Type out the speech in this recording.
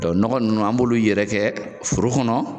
nɔgɔ ninnu an b'olu yɛrɛ kɛ foro kɔnɔ